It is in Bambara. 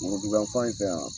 Woroduguyan fan in fɛ a?